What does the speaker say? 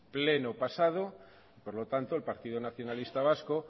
pleno pasado por lo tanto el partido nacionalista vasco